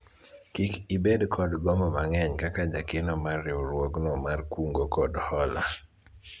kik ibed kod gombo mang'eny kaka jakeno mar riwruogno mar kungo kod hola